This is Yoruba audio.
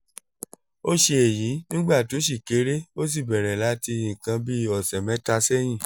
ó ṣe èyí nígbà tó ṣì kéré ó sì bẹ̀rẹ̀ láti nǹkan bí ọ̀sẹ̀ mẹ́ta sẹ́yìn